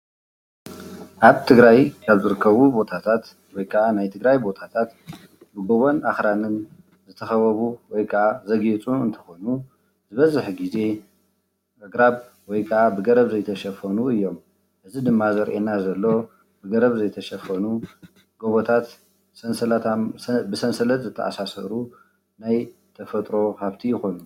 ኣብ ትግራይ ካብ ዝርከቡ ቦታታት ወይ ከዓ ናይ ትግራይ ቦታታት ብጎቦን ኣኽራንን ዝተኸበቡ ወይ ከዓ ዘግየፁን እንትኾኑ ዝበዝሕ ግዜ ብኣግራብ ወይ ከዓ ብገረብ ዘይተሸፈኑ እዮም፡፡ እዚ ድማ ዘርእየና ዘሎ ብገረብ ዘይተሸፈኑ ጎቦታት ሰንስላት ብሰንሰለት ዝተኣሳሰሩ ናይ ተፈጥሮ ሃፍቲ ይኾኑ፡፡